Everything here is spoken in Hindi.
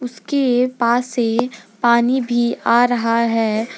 उसके पास से पानी भी आ रहा है।